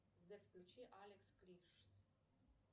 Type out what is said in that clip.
сбер включи алекс кришс